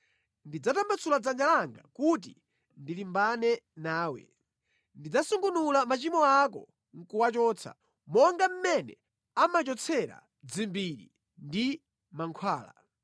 Ndidzatambasula dzanja langa kuti ndilimbane nawe; ndidzasungunula machimo ako nʼkuwachotsa, monga mmene amachotsera dzimbiri ndi mankhwala.